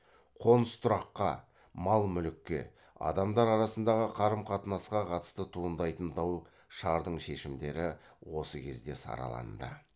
қоныс тұраққа мал мүлікке адамдар арасындағы қарым қатынасқа қатысты туындайтын дау шардың шешімдері осы кезде сараланды